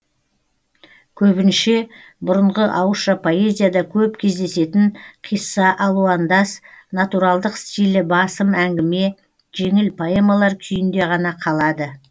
көбінше бұрынғы ауызша поэзияда көп кездесетін қисса алуандас натуралдық стилі басым әңгіме жеңіл поэмалар күйінде ғана қалады